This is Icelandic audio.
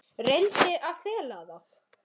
Reyndi að fela það.